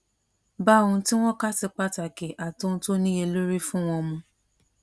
bá ohun tí wón kà sí pàtàkì àti ohun tó níyelórí fún wọn mu